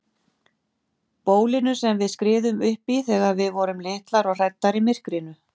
Bólinu sem við skriðum uppí þegar við vorum litlar og hræddar í myrkrinu.